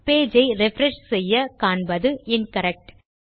page ஐ refresh செய்ய காண்பது இன்கரெக்ட்